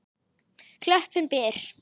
Klöppin ber.